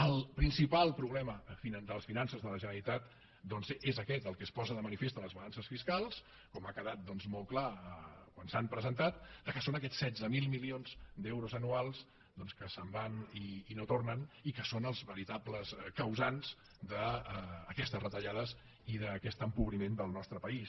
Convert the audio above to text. el principal problema de les finances de la generalitat doncs és aquest el que es posa de manifest en les balances fiscals com ha quedat molt clar quan s’han presentat que són aquests setze mil milions d’euros anuals que se’n van i no tornen i que són els veritables causants d’aquestes retallades i d’aquest empobriment del nostre país